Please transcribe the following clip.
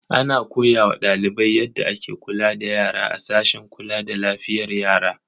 Ana koya wa ɗalibai yadda ake kula da yara a sashen kula da lafiyar yara.